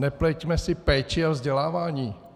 Nepleťme si péči a vzdělávání.